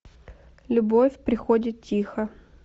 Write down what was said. любовь приходит тихо